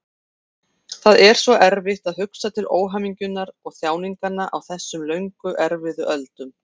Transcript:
Það er svo erfitt að hugsa til óhamingjunnar og þjáninganna á þessum löngu erfiðu öldum.